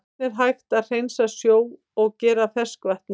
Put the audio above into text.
Hvernig er hægt að hreinsa sjó og gera að ferskvatni?